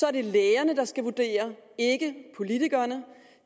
er det lægerne der skal vurdere ikke politikerne